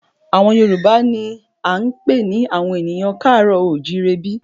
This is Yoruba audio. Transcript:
Àwọn Yorùbá náà ni a ń pè ní àwọn ènìyàn ká àárọ̀ o ò jíire bí